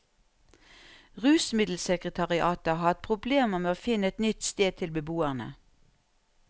Rusmiddelsekretariatet har hatt problemer med å finne et nytt sted til beboerne.